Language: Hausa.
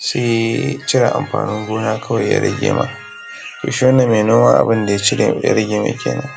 sai cire amfanin gona kawai ya rage ma to shi wannan mai noma abunda ya rage mai kinan